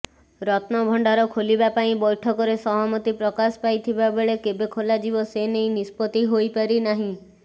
ରତ୍ନଭଣ୍ଡାର ଖୋଲିବା ପାଇଁ ବୈଠକରେ ସହମତି ପ୍ରକାଶ ପାଇଥିବାବେଳେ କେବେ ଖୋଲାଯିବ ସେନେଇ ନିଷ୍ପତ୍ତି ହୋଇପାରିନାହିଁ